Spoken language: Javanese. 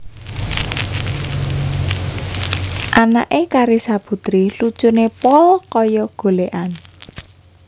Anak e Carissa Puteri lucune pol koyok golekan